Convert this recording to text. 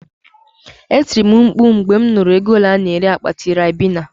Etiri m mkpu mgbe mụ nụrụ ego ole a-na ere akpati Ribena